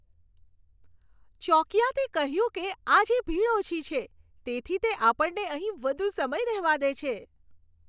ચોકિયાતે કહ્યું કે આજે ભીડ ઓછી છે. તેથી તે આપણને અહીં વધુ સમય રહેવા દે છે.